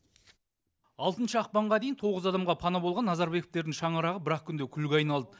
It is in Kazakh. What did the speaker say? алтыншы ақпанға дейін тоғыз адамға пана болған назарбековтердің шаңырағы бір ақ күнде күлге айналды